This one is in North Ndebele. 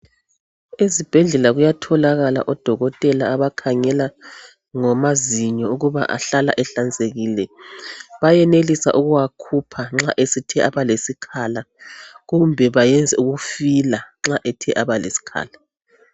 Ezibhedlela kuyatholakala odokotela abakhangela ngamazinyo ukuba ahlala ehlanzekile, bayenelisa ukuwakhupa nxa esethe abalesikhala kumbe bayenze ukufila nxa ethe aba lesikhala.